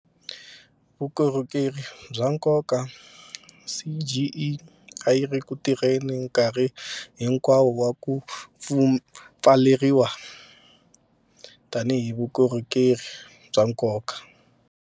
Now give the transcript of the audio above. Vukorhokeri bya nkoka CGE a yiri ku tirheni nkarhi hinkwawo wa ku pfaleriwa tanihi vukorhokeri bya nkoka.